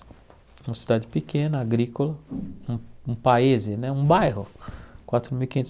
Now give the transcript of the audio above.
É uma cidade pequena, agrícola, um um país né, um bairro quatro mil e quinhentos